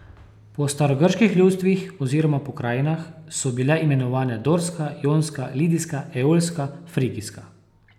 Po starogrških ljudstvih oziroma pokrajinah so bile imenovane dorska, jonska, lidijska, eolska, frigijska.